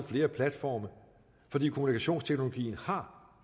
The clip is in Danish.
flere platforme fordi kommunikationsteknologien har